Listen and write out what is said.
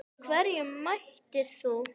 Í hverju mætir þú?